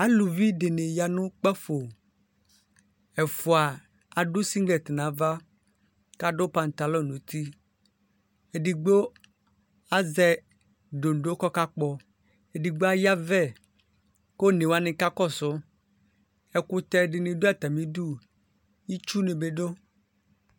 Alʋvi dini yanʋ kpafo ɛfʋa adʋ siglɛti nʋ ava kʋ adʋ patalɔ nʋ uti edigbo azɛ doŋdo kʋ ɔka kpɔ edigbo ayavɛ kʋ one wani kakɔsʋ ɛkʋtɛ dini dʋ atami idʋ itsʋ nibi dʋ